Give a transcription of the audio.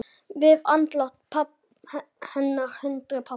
Við andlát hennar hrundi pabbi.